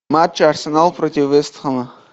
матч арсенал против вест хэма